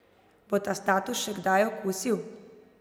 Bo ta status še kdaj okusil?